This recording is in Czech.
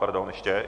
Pardon ještě.